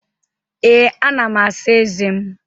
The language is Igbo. Ee, ana m asa ezé m